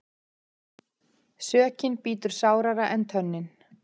Sökin bítur sárara en tönnin.